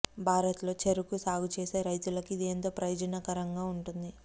భారత్లో చెరకు సాగు చేసే రైతులకు ఇది ఎంతో ప్రయోజనకరంగా ఉంటుంది